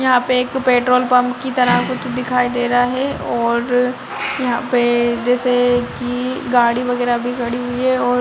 यहाँ पे एक पेट्रोल पंप की तरह कुछ दिखाई दे रहा है और यहाँ पे जैसे की गाड़ी वगैरा भी खड़ी है और --